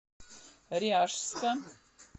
ряжска